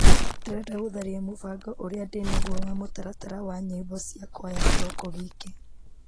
Ndĩrenda gũtharia mũbango ũrĩa ndĩnaguo wa mũtaratata wa nyĩmbo cia kwaya kĩroko gĩkĩ .